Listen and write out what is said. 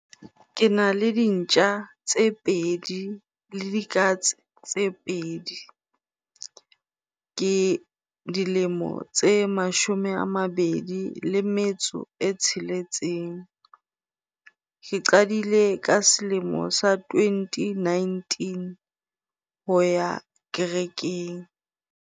Ke na le dintja tse pedi le dikatse tse pedi. Ke dilemo tse mashome a mabedi le metso e tsheletseng. Ke qadile ka selemo sa twenty nineteen ho ya kerekeng.